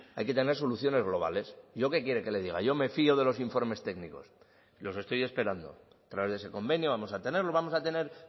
hay que tener soluciones globales yo qué quiere que le diga yo me fio de los informes técnicos los estoy esperando a través de ese convenio vamos a tenerlo vamos a tener